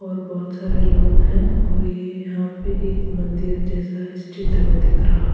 और बहुत सारे लोग हैं और ये यहाँ पे एक मंदिर जैसा इस चित्र में दिख रहा है।